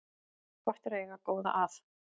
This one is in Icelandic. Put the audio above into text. Gott er að eiga góða að